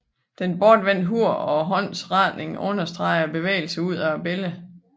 Det bortvendte hoved og håndens retning understreger bevægelsen ud af billedet